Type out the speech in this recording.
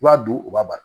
I b'a dun u b'a bari